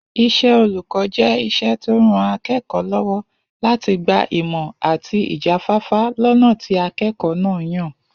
Is̩é̩ olùkó̩ jé̩ is̩é̩ tó ń ran aké̩kò̩ó̩ ló̩wó̩ láti gba ìmò̩ àti ìjáfáfá lọ́nà tí aké̩kò̩ó̩ náà yàn